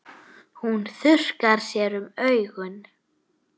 Hún þurrkar sér um augun.